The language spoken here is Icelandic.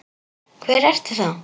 Hvar ertu þá?